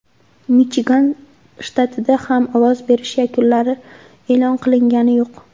Michigan shtatida ham ovoz berish yakunlari e’lon qilingani yo‘q.